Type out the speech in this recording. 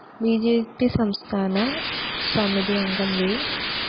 B J P സംസ്ഥാന സമിതിയംഗം V